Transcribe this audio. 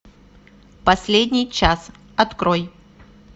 последний час открой